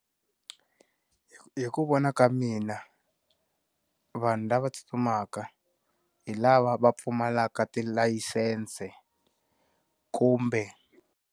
Hi ku vona ka mina, vanhu lava tsutsumaka, hi lava va pfumalaka tilayisense kumbe.